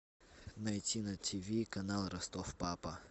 найти на ти ви канал ростов папа